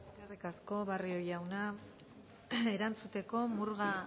eskerrik asko barrio jauna erantzuteko murga